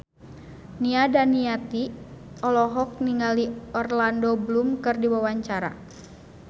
Nia Daniati olohok ningali Orlando Bloom keur diwawancara